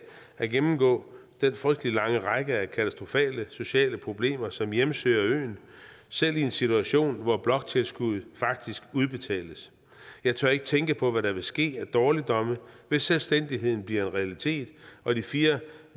at gennemgå den frygtelig lange række af katastrofale sociale problemer som hjemsøger øen selv i en situation hvor bloktilskuddet faktisk udbetales jeg tør ikke tænke på hvad der vil ske af dårligdomme hvis selvstændigheden bliver en realitet og de fire